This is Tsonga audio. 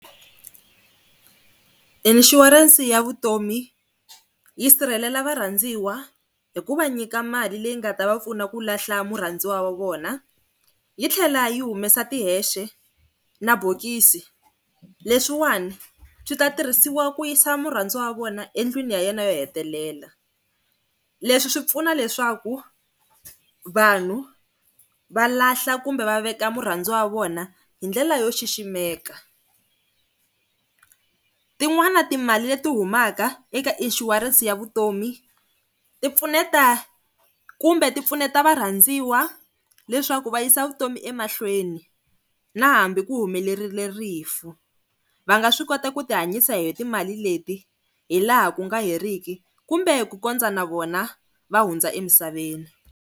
Inshurense ya vutomi yi sirhelela varhandziwa hi ku va nyika mali leyi nga ta va pfuna ku lahla murhandziwa wa vona. Yi tlhela yi humesa tihexe na bokisi leswiwani swi ta tirhisiwa ku yisa murhandziwa wa vona endlwini ya yena yo hetelela. Leswi swi pfuna leswaku vanhu va lahla kumbe va veka murhandziwa wa vona hindlela yo xiximekaka. Tin'wana timali leti humaka eka inshurense ya vutomi ti pfuneta kumbe ti pfuneta varhandziwa leswaku va yisa vutomi emahlweni na hambi ku humelerile rifu, va nga swi koti ku tihanyisa hi timali leti hi laha ku nga heriki kumbe ku kondza na vona va hundza emisaveni.